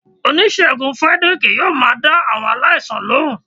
Onisegún Fredrick yóò má dá awọn aláísàn lohún.